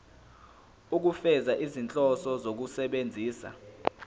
ukufeza izinhloso zokusebenzisa